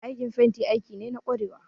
Aikin fenti aiki ne na kwarewa